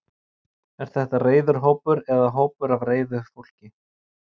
Er þetta reiður hópur eða hópur af reiðu fólki?